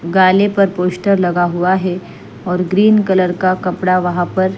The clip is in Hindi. गाले पर पोस्टर लगा हुआ है और ग्रीन कलर का कपड़ा वहाँ पर--